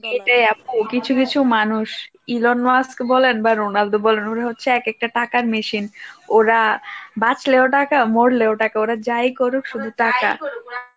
এটাই আপু কিছু কিছু মানুষ ইরণ মাস্ক বলেন বা রোনাল্ডো বলেন উনি হচ্ছে এক একটা টাকার machine ওরা বাঁচলেও টাকা মরলেও টাকা ওরা যাই করুক শুধু টাকা ওরা